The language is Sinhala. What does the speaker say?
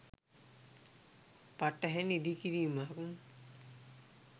පටහැණි ඉදිකිරීමක්.